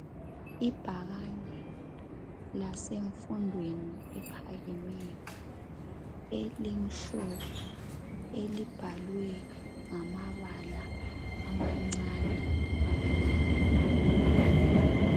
Ibhakane lasemfundweni ephakemeyo elimhlophe elibhalwe ngamabala amancane amnyama